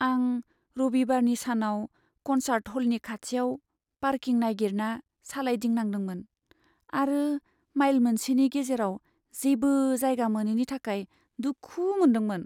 आं रबिबारनि सानाव कनसार्ट ह'लनि खाथियाव पार्किं नागिरना सालायदिंनांदोंमोन आरो माइल मोनसेनि गेजेराव जेबो जायगा मोनैनि थाखाय दुखु मोनदोंमोन।